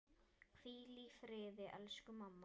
Hvíl í friði elsku mamma.